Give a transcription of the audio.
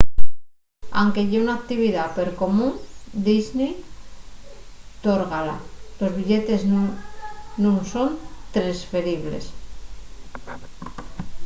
anque ye una actividá percomún disney tórgala los billetes nun son tresferibles